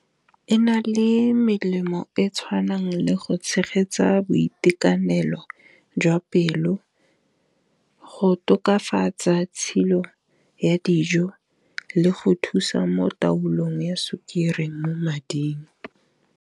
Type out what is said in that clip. E na le melemo e tshwanang le go tshegetsa boitekanelo jwa pelo go tokafatsa tshilo ya dijo, le go thusa mo taolong ya sukiri mo mading.